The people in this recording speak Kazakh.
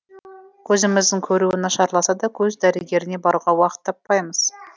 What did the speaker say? көзіміздің көруі нашарласа да көз дәрігеріне баруға уақыт таппаймыз